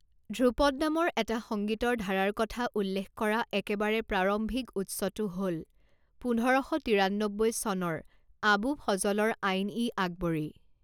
ধ্ৰুপদ নামৰ এটা সংগীতৰ ধাৰাৰ কথা উল্লেখ কৰা একেবাৰে প্ৰাৰম্ভিক উৎসটো হ'ল পোন্ধৰ শ তিৰান্নব্বৈ চনৰ আবু ফজলৰ আইন ই আকবৰী।